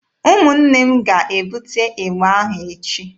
Ụmụnne m ga-ebute ịgba ahụ echi.